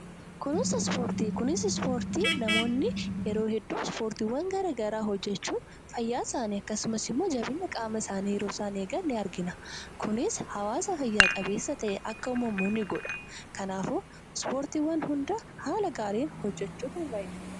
Kunuunsa ispoortii. Kunuunsi ispoortii namoonni yeroo hedduu ispoortiiwwan garaa garaa hojjechuun fayyaa isaanii akkasumas immoo jabeenya qaama isaanii yeroo isaan eegaan ni argina. Kunis hawwaasa fayya qabeessa ta'e akka uumamu ni godha. Kanaafuu ispoortiiwwan hunda haala gaariin hojjechuutu nurraa eegama.